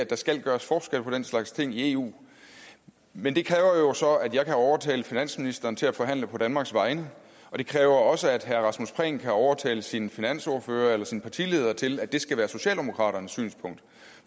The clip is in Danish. der skal gøres forskel på den slags ting i eu men det kræver jo så at jeg kan overtale finansministeren til at forhandle på danmarks vegne og det kræver også at herre rasmus prehn kan overtale sin finansordfører eller sin partileder til at det skal være socialdemokraternes synspunkt